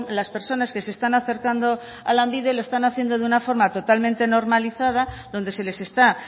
las personas que se están acercando a lanbide lo están haciendo de una forma totalmente normalizada donde se les está